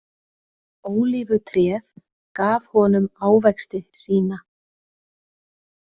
Ólífutréð gaf honum ávexti sína.